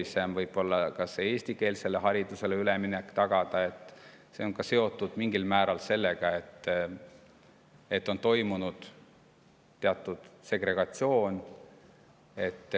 Meil on keeruline tagada eestikeelsele haridusele üleminek ja see on seotud mingil määral sellega, et on toimunud teatud segregatsioon.